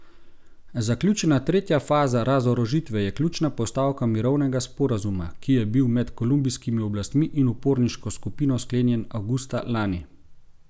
Zaključena tretja faza razorožitve je ključna postavka mirovnega sporazuma, ki je bil med kolumbijskimi oblastmi in uporniško skupino sklenjen avgusta lani.